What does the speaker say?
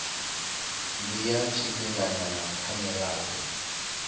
ndi ya tshifhinganyana kha mirado